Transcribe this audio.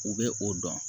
U bɛ o dɔn